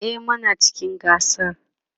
e Muna cikin gasar